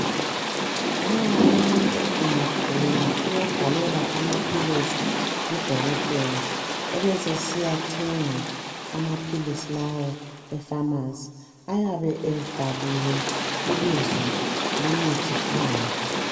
Nxa umuntu engagula uyabhalelwa amaphilisi ngudokotela, ebesesiyathenga amaphilisi lawo efamasi ayabe ebhaliwe ibizo lomuthi phandle.